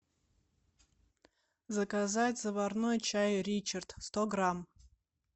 заказать заварной чай ричард сто грамм